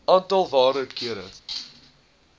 aantal waarde kere